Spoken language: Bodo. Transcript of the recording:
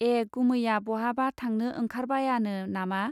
ए गुमैया बहाबा थांनो ओंखार बायानो नामा.